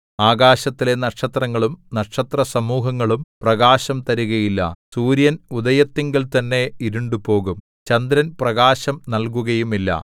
ആകാശത്തിലെ നക്ഷത്രങ്ങളും നക്ഷത്രസമൂഹങ്ങളും പ്രകാശം തരുകയില്ല സൂര്യൻ ഉദയത്തിങ്കൽത്തന്നെ ഇരുണ്ടുപോകും ചന്ദ്രൻ പ്രകാശം നല്കുകയുമില്ല